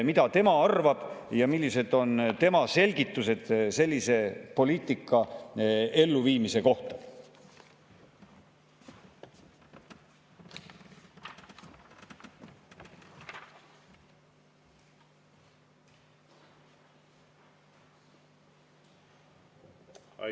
Mida tema arvab ja millised on tema selgitused sellise poliitika elluviimise kohta?